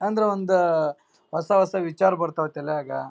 ಅಂದ್ರ ಒಂದು ಹೊಸ ಹೊಸ ವಿಚಾರಗಳು ಬರ್ತಾವ್ರಿ ತಲಿಯಾಗ --